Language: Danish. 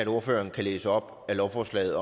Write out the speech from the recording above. ordføreren kan læse op af lovforslaget